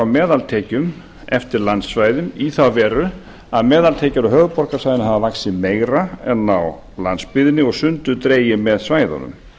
meðaltekjum eftir landsvæðum í þá veru að meðaltekjur á höfuðborgarsvæðinu hafa vaxið meira en á landsbyggðinni og sundur dregið með svæðunum